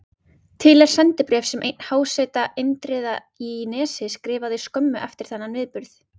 Til er sendibréf sem einn háseta Indriða í Nesi skrifaði skömmu eftir þennan atburð.